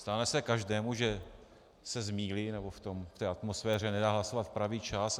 Stane se každému, že se zmýlí nebo v té atmosféře nedá hlasovat v pravý čas.